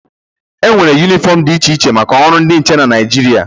E nwere yunifọm dị iche iche maka ọrụ dị iche iche na Naijiria.